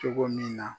Cogo min na